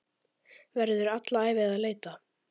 Verður alla ævi að leita.